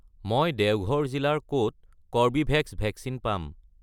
মই দেওঘৰ জিলাৰ ক'ত কৰ্বীভেক্স ভেকচিন পাম?